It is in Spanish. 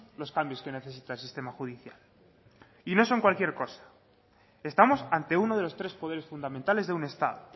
los cambios que necesita el sistema judicial y no son cualquier cosa estamos ante uno de los tres poderes fundamentales de un estado